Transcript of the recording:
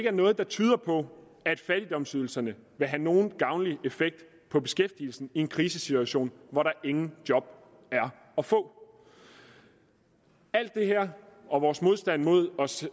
er noget der tyder på at fattigdomsydelserne vil have nogen gavnlig effekt på beskæftigelsen i en krisesituation hvor der ingen job er at få alt det her og vores modstand mod